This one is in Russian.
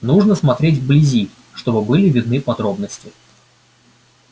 нужно смотреть вблизи чтобы были видны подробности